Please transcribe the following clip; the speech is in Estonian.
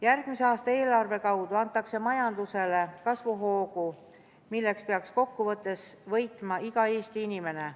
Järgmise aasta eelarve kaudu antakse majandusele kasvuhoogu, millest peaks kokkuvõttes võitma iga Eesti inimene.